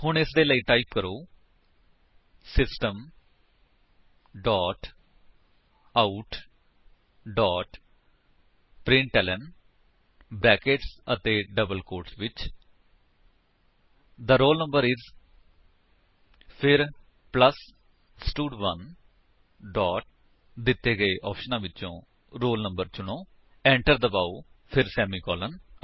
ਹੁਣ ਉਸਦੇ ਲਈ ਟਾਈਪ ਕਰੋ system dot out dot println brackets ਅਤੇ ਡਬਲ ਕੋਟਸ ਵਿੱਚ ਥੇ ਰੋਲ ਨੰਬਰ ਆਈਐਸ ਫਿਰ ਪਲੱਸ ਸਟਡ1 ਡੋਟ ਦਿੱਤੇ ਗਏ ਆਪਸ਼ਨ ਵਿਚੋ roll no ਚੁਣੋ ਏੰਟਰ ਦਬਾਓ ਫਿਰ ਸੇਮੀਕਾਲਨ